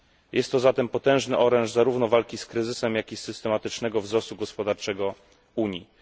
Jest to zatem potężny oręż zarówno walki z kryzysem, jak i systematycznego wzrostu gospodarczego Unii.